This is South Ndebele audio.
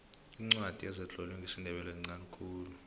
iincwadi ezitlolwe ngesindebele zinqani khulu